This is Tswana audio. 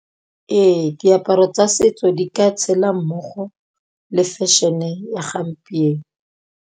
Ee diaparo tsa setso di ka tshela mmogo le fashion-e ya gampieno.